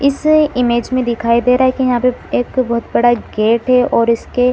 इस इमेज में दिखाई दे रहा है की यहाँ पे एक बहोत बड़ा गेट है और इसके --